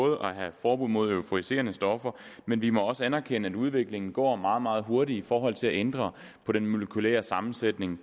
at have forbud mod euforiserende stoffer men vi må også anerkende at udviklingen går meget meget hurtigt i forhold til at ændre på den molekylære sammensætning